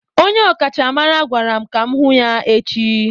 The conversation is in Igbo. Onye ọkachamara gwara m ka m hụ ya echi